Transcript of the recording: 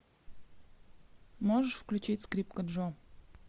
можешь включить скрипка джо